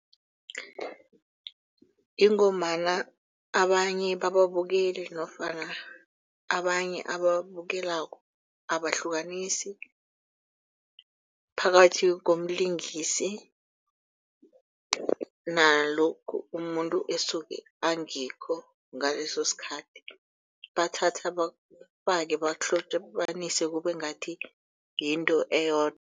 Ingombana abanye bababukeli nofana abanye ababukelako abahlukanisi phakathi komlingisi. Nalokhu umuntu esuke angikho ngaleso sikhathi bathatha bakufake bakuhlobanise kube ngathi yinto eyodwa.